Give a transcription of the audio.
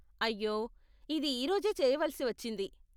అయ్యో, ఇది ఈ రోజే చేయవలసి వచ్చింది.